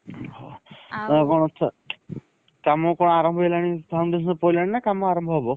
କାମ କଣ ଆରମ୍ଭ ହେଇଗଲାଣି foundation ପଇଲାଣି ନା କାମ ଆରମ୍ଭ ହବ?